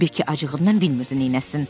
Bekki acığından bilmirdi neynəsin.